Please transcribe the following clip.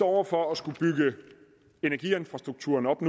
over for at skulle bygge energiinfrastrukturen op